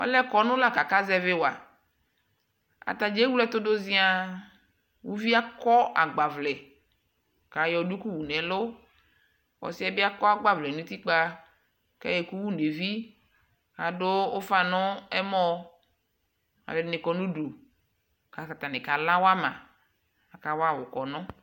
Ɔlɛ kɔnu la kʋ akazɛvi waAtanι ewle ɛtʋ dʋ? ziaŋ Uvi yɛ aɔ agbavlɛ kʋ ayɔ duku wʋ nʋ ɛlʋ Ɔs yɛ akɔ agbavlɛ nʋ utikpa kʋ ayɔ ɛkʋ wʋ nʋ evi Adʋ nʋ ɛmɔɔ Alʋɔdi ni kɔ nʋ udu kʋ ata ni kala wama Akawa wʋ kɔnʋ